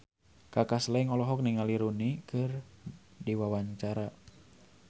Kaka Slank olohok ningali Rooney Mara keur diwawancara